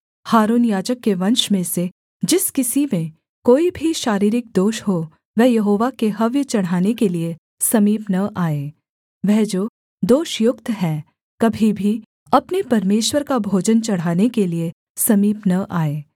हारून याजक के वंश में से जिस किसी में कोई भी शारीरिक दोष हो वह यहोवा के हव्य चढ़ाने के लिये समीप न आए वह जो दोषयुक्त है कभी भी अपने परमेश्वर का भोजन चढ़ाने के लिये समीप न आए